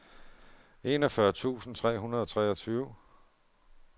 enogfyrre tusind tre hundrede og treogtyve